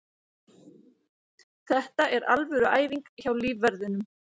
Þetta er alvöru æfing hjá lífverðinum.